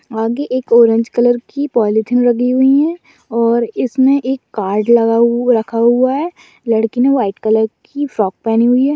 आगे एक orange colour की पोलोथीन लगी हुई हैं और इसमे एक कार्ड लगा रखा हुआ है लड़की ने व्हाइट कलर की फ्रॉक पहनी हुई है।